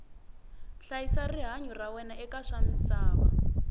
hlayisa rihanyu ra wena eka swamisava